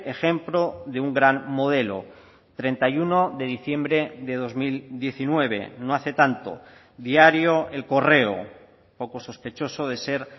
ejemplo de un gran modelo treinta y uno de diciembre de dos mil diecinueve no hace tanto diario el correo poco sospechoso de ser